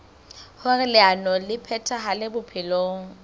hoer leano le phethahale bophelong